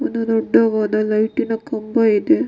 ಒಂದು ದೊಡ್ಡದಾದ ಲೈಟ್ ನ ಕಂಬ ಇದೆ.